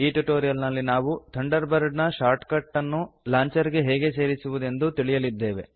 ಈ ಟ್ಯುಟೋರಿಯಲ್ ನಲ್ಲಿ ನಾವು ಥಂಡರ್ ಬರ್ಡ್ ನ ಶಾರ್ಟ್ ಕಟ್ ಅನ್ನು ಲಾಂಚರ್ ಗೆ ಹೇಗೆ ಸೇರಿಸುವುದೆಂದು ತಿಳಿಯಲಿದ್ದೇವೆ